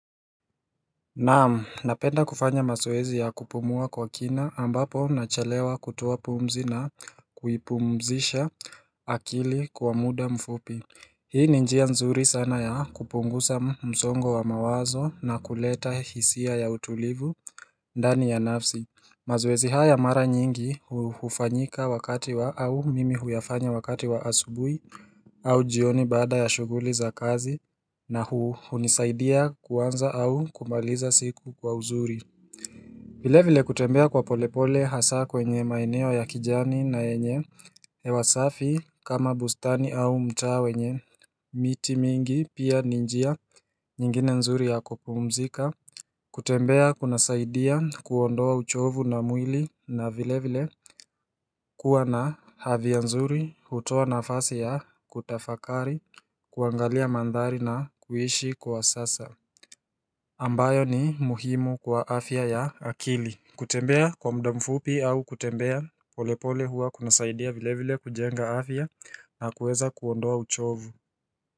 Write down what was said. Naam, napenda kufanya masoezi ya kupumua kwa kina ambapo nachalewa kutoapumzi na kuipumzisha akili kwa muda mfupi Hii ni njia nzuri sana ya kupungusa msongo wa mawazo na kuleta hisia ya utulivu ndani ya nafsi mazoezi haya mara nyingi hufanyika wakati wa au mimi huyafanya wakati wa asubui au jioni baada ya shuguli za kazi na huu unisaidia kuanza au kumaliza siku kwa uzuri vile vile kutembea kwa polepole hasa kwenye maeneo ya kijani na yenye hewa safi kama bustani au mtaa wenye miti mingi pia ni njia nyingine nzuri ya kupumzika kutembea kuna saidia kuondoa uchovu na mwili na vile vile kuwa na havya nzuri hutoa nafasi ya kutafakari kuangalia mandhari na kuishi kwa sasa ambayo ni muhimu kwa afya ya akili kutembea kwa muda mfupi au kutembea pole pole hua kuna saidia vile vile kujenga afya na kuweza kuondoa uchovu.